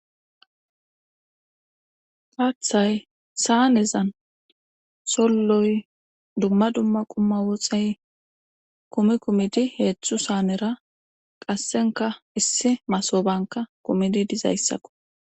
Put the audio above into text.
Haathay saanezan solloy dumma dumma qumma woxey kumi kumidi heetzthu saanera qassenka issi masobanka kumidi dizayssakko.